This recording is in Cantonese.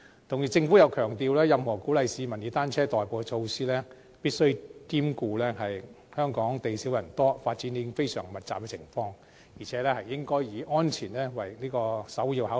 同時，政府又強調，任何鼓勵市民以單車代步的措施，必須兼顧香港地少人多，以及發展已經非常密集的情況，並且應該以安全作為首要考慮。